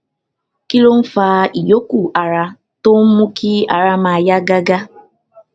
kí ló ń fa ìyókù ara tó ń mú kí ara máa yá gágá